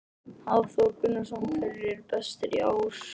Hafþór Gunnarsson: Hverjir eru bestir í ár?